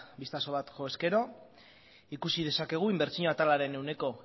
bistazo bat jo ezkero ikusi dezakegu inbertsio atalaren ehuneko